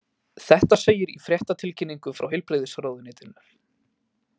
Þetta segir í fréttatilkynningu frá Heilbrigðisráðuneytinu